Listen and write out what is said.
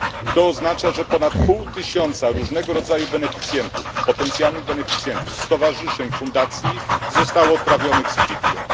To oznacza, że ponad pół tysiąca różnego rodzaju potencjalnych beneficjentów, stowarzyszeń, fundacji zostało odprawionych z kwitkiem.